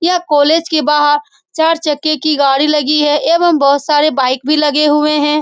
यह कॉलेज के बाहर चार चक्के की गाड़ी लगी है एवं बहुत सारे बाइक भी लगे हुए हैं।